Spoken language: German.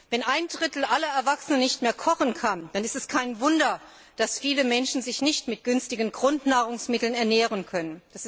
Wenn ein Drittel aller Erwachsenen nicht mehr kochen kann, dann ist es kein Wunder, dass viele Menschen sich nicht mit günstigen Grundnahrungsmitteln ernähren können.